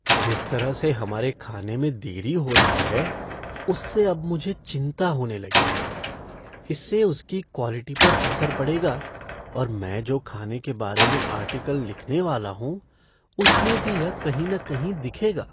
जिस तरह से हमारे खाने में देरी हो रही है, उससे अब मुझे चिंता होने लगी है। इससे उसकी क्वालिटी पर असर पड़ेगा और मैं जो खाने के बारे में आर्टिकल लिखने वाला हूँ उसमें भी यह कहीं न कहीं दिखेगा।